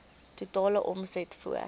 totale omset voor